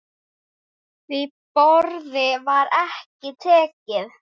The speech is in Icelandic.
Því boði var ekki tekið.